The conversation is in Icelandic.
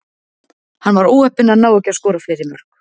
Hann var óheppinn að ná ekki að skora fleiri mörk.